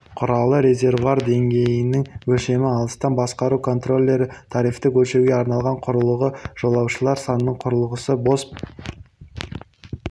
құралы резервуар деңгейінің өлшемі алыстан басқару контроллері трафикті өлшеуге арналған құрылғы жолаушылар санының құрылғысы бос